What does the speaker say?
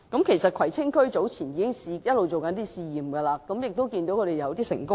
其實，葵青區早前一直進行試驗，亦已取得一些成功。